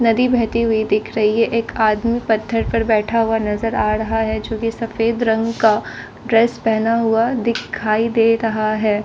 नदी बहती हुई दिख रही है एक आदमी पत्थर पर बैठा हुआ नजर आ रहा है जो सफेद रंग का ड्रेस पहना हुआ दिखाई दे रहा है।